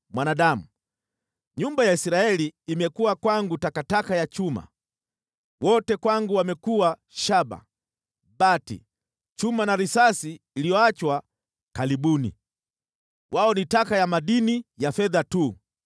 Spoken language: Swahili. “Mwanadamu, nyumba ya Israeli imekuwa kwangu takataka ya chuma, wote kwangu wamekuwa shaba, bati, chuma na risasi iliyoachwa kalibuni. Wao ni taka ya madini ya fedha tu.